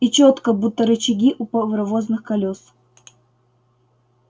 и чётко будто рычаги у паровозных колёс